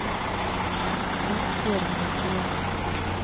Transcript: Asbjørg Mathiassen